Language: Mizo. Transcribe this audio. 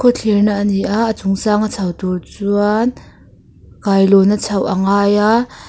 khaw thlirna ani a a chung sanga chho tur chuan kailawn a chhoh a ngai a --